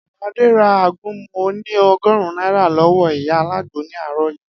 Adé ra àgúnmu oní o̩gò̩rún náírà ló̩wó̩ ìyá alágbo ní àárò̩ yìí